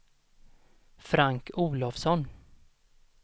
Frank Olofsson